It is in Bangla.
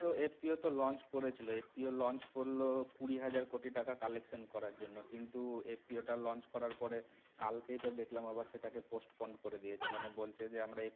FPO এ তো launch করেছিল FPOlaunch করল কুড়ি হাজার কোটি টাকা collection করার জন্যে কিন্তু FPO ওটা launch করার পরে কাল যেটা দেখলাম আবার সেটাকে postponed করে দিয়েছে মানে বলছে যে আমরা